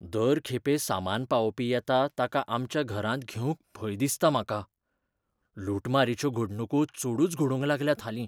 दर खेपे सामान पावोवपी येता ताका आमच्या घरांत घेवंक भंय दिसता म्हाका. लुटमारीच्यो घडणुको चडूच घडूंक लागल्यात हालीं.